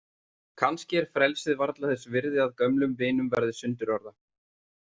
Kannski er frelsið varla þess virði að gömlum vinum verði sundurorða.